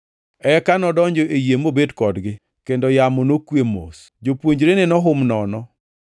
Eka nodonjo e yie mobet kodgi, kendo yamo nokwe mos. Jopuonjrene nohum nono,